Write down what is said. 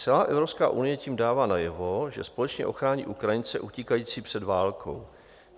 Celá Evropská unie tím dává najevo, že společně ochrání Ukrajince utíkající před válkou.